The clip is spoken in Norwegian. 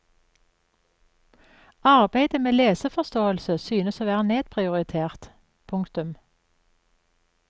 Arbeidet med leseforståelse synes å være nedprioritert. punktum